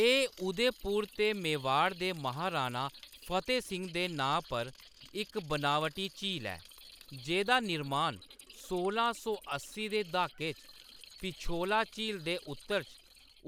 एह्‌‌ उदयपुर ते मेवाड़ दे महाराणा फ़तेह सिंह दे नांऽ पर इक बनावटी झील ऐ, जेह्‌दा निर्मान सोलां सौ अस्सी दे दहाके च पिछोला झील दे उत्तर च